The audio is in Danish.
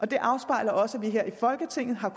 det afspejler også at vi her i folketinget har